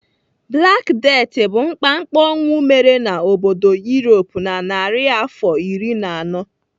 Black Death bụ mkpamkpa ọnwụ mere n'obodo Europe na narịafọ iri na anọ.